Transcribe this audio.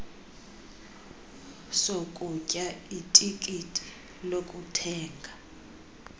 sokutya itikiti lokuthenga